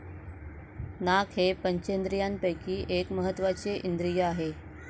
नाक हे पंचेंद्रियांपैकी एक महात्वाचे इंद्रिय आहे.